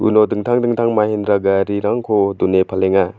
dingtang dingtang mahindra garirangko done palenga.